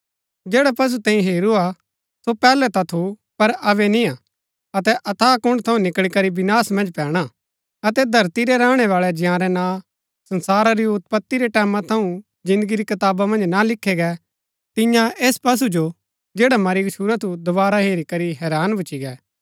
जैडा पशु तैंई हेरू हा सो पैहलै ता थू पर अबै निय्आ अतै अथाह कुण्ड़ थऊँ निकळी करी विनाश मन्ज पैणा अतै धरती रै रैहणैवाळै जंयारै नां संसारा री उत्पति रै टैमां थऊँ जिन्दगी री कताबा मन्ज ना लिखे गै तिन्या ऐस पशु जो जैड़ा मरी गच्छुरा थू दोवारा हेरी करी हैरान भूच्ची गै